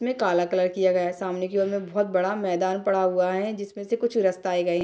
इसमें काला कलर किया गया है सामने की ओर में बहुत बड़ा मैदान पड़ा हुआ है जिसमे से कुछ रस्ताएं गए है।